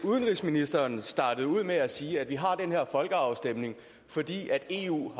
udenrigsministeren startede ud med at sige at vi har den her folkeafstemning fordi eu